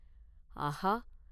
ஆகா!